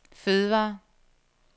fødevarer